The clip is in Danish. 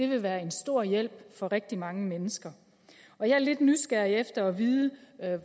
vil være en stor hjælp for rigtig mange mennesker jeg er lidt nysgerrig efter at vide